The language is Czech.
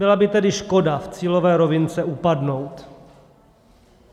Byla by tedy škoda v cílové rovince upadnout.